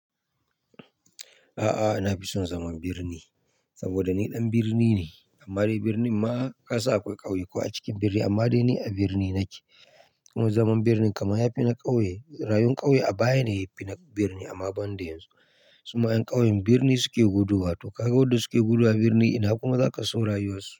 A'a, na fi son zaman birni saboda ni ɗan birni ne. Amma dai birnin ma kasan akwai ƙauye ko a cikin birni, amma dai ni a birni nake. Kuma zaman birni kaman yafi na ƙauye, rayuwar ƙauye a baya ne yafi na birni, amma ban da yanzu. Su ma 'yan ƙauyen birni suke gudowa, to ka ga wadda suke gudowa birni ina kuma za ka so rayuwar su.